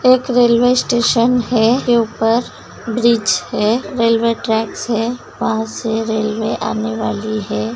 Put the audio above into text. एक railway station है के ऊपर ब्रिज है रेलवे ट्रैक है वहाँ से रेलवे आने वाली है।